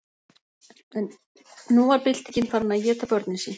En nú var byltingin farin að éta börnin sín.